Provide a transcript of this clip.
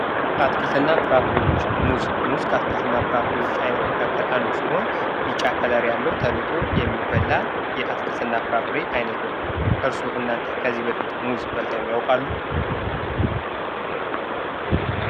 አትክልትና ፍራፍሬዎች ሙዝ ፍራፍሬ አይነት መካከል አንዱ ሲሆን ቢጫ ከለር ያለው ተልጦ የሚበላ የአትክልትና ፍራፍሬ አይነት ነው። እርስዎ እናንተ ከዚህ በፊት ሙዝ በልተው ያውቃሉ?